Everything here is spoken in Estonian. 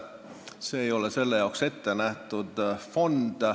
See ei ole selle jaoks ette nähtud fond.